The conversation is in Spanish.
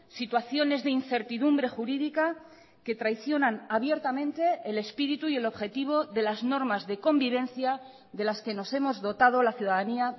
situaciones de incertidumbre jurídica que traicionan abiertamente el espíritu y el objetivo de las normas de convivencia de las que nos hemos dotado la ciudadanía